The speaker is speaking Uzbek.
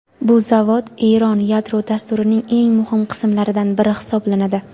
Bu zavod Eron yadro dasturining eng muhim qismlaridan biri hisoblanadi.